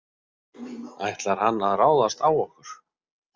Ætlar hann að ráðast á okkur?